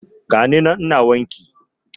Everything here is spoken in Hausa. Gani nan ina wanki